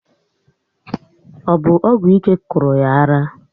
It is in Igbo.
Ọ bụ ọgwụ ike kụrụ yá ara?